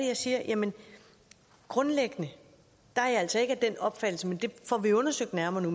jeg sige at grundlæggende er jeg altså ikke af den opfattelse men vi får det undersøgt nærmere